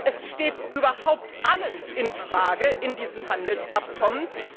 Es steht überhaupt alles in Frage in diesem Handelsabkommen.